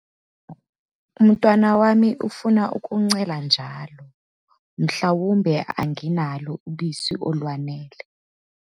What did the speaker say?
Umntwana wami ufuna ukuncela njalo mhlawumbe anginalo ubisi olwanele?